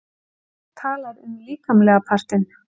Og fólk talar um líkamlega partinn.